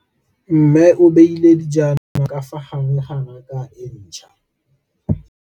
Mmê o beile dijana ka fa gare ga raka e ntšha.